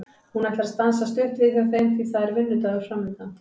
Hún ætlar að stansa stutt við hjá þeim því að það er vinnudagur framundan.